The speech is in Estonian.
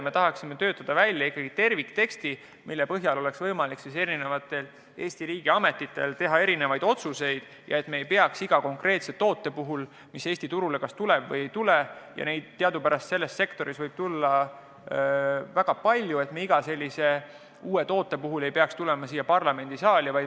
Me tahaksime töötada välja tervikteksti, mille põhjal oleks Eesti riigiametitel võimalik otsuseid teha, nii et me ei peaks iga konkreetse toote puhul, mis Eesti turule tahab tulla – ja neid teadupärast võib selles sektoris olla väga palju –, asja arutama siin parlamendisaalis.